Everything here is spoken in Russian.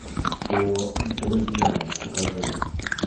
по друзьям покажи